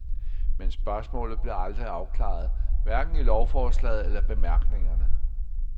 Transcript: Men spørgsmålet blev aldrig afklaret, hverken i lovforslaget eller bemærkningerne.